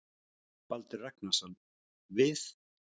Baldur Ragnarsson: Við?